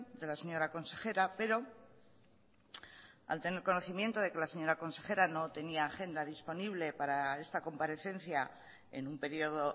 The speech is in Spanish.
de la señora consejera pero al tener conocimiento de que la señora consejera no tenía agenda disponible para esta comparecencia en un periodo